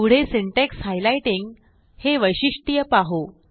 पुढे syntax highlighting हे वैशिष्ट्य पाहू